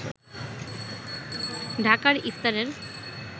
ঢাকার ইফতারের